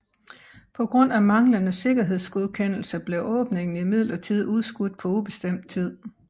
På grund af manglende sikkerhedsgodkendelse blev åbningen imidlertid udskudt på ubestemt tid